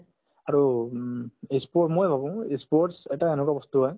আৰু উম ই sport মই ভাবো ই sports এটা এনেকুৱা বস্তু হয়